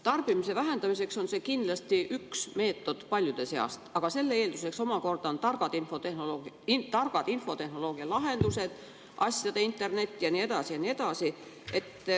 Tarbimise vähendamiseks on see kindlasti üks meetod paljude seas, aga selle eelduseks on targad infotehnoloogialahendused, asjade internet ja nii edasi ja nii edasi.